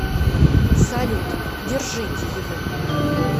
салют держите его